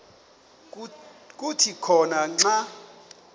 kuthi khona xa